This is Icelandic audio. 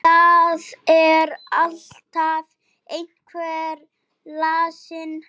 Það er alltaf einhver lasin.